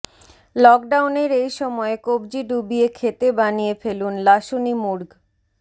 লকডাউনের এই সময়ে কবজি ডুবিয়ে খেতে বানিয়ে ফেলুন লাসুনি মুর্গ